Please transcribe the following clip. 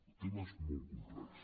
el tema és molt complex